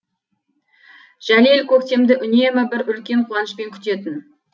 жәлел көктемді үнемі бір үлкен қуанышпен күтетін